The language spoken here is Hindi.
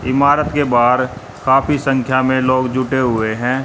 इमारत के बाहर काफी संख्या में लोग जुटे हुए हैं।